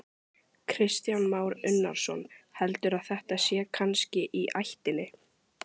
Kristján Már Unnarsson: Heldurðu að þetta sé kannski í ættinni?